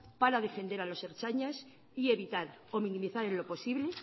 para defender a los ertzainas y evitar o minimizar en lo posible